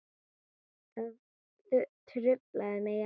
Það truflar mig ekki.